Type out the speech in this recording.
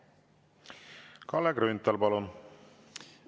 Kalle Grünthal, palun!